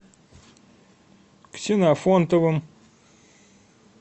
ксенофонтовым